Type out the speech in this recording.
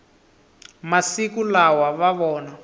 masiku lawa va vona